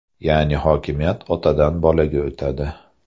Ya’ni hokimiyat otadan bolaga o‘tadi.